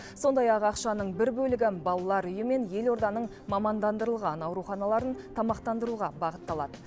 сондай ақ ақшаның бір бөлігі балалар үйі мен елорданың мамандандырылған ауруханаларын тамақтандыруға бағытталады